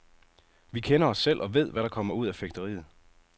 Vi kender os selv og ved, hvad der kommer ud af fægteriet.